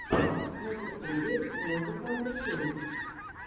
на ютюбе музыка души